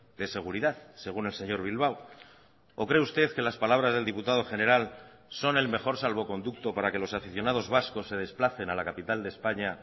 de seguridad según el señor bilbao o cree usted que las palabras del diputado general son el mejor salvoconducto para que los aficionados vascos se desplacen a la capital de españa